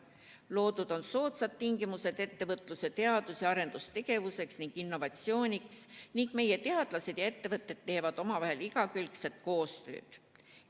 Loodud on soodsad tingimused ettevõtluse teadus- ja arendustegevuseks ning innovatsiooniks ning meie teadlased ja ettevõtted teevad omavahel igakülgset koostööd.